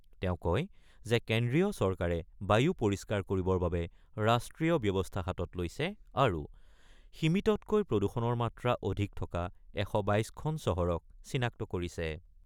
তেওঁ কয় যে কেন্দ্ৰীয় চৰকাৰে বায়ু পৰিষ্কাৰ কৰিবৰ বাবে ৰাষ্ট্ৰীয় ব্যৱস্থা হাতত লৈছে আৰু সীমিততকৈ প্ৰদূষণৰ মাত্ৰা অধিক থকা ১২২খন চহৰক চিনাক্ত কৰিছে।